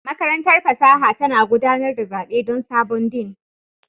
Makarantar fasaha tana gudanar da zaɓe don sabon Dean